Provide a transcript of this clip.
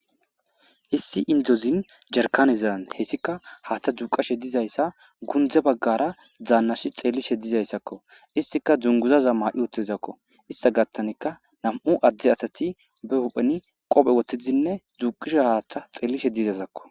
Issi indozin jerkanizan hessika haatha dzuuqashe dizayssa gundze baggara dzaannashi xelishe dizayssakko istika dzunguzaza maa'i otezakko ista gattanika nam'u adde asati behupheni qophe woththiinne dzuuqishe haaththa xeelishe dizasakko.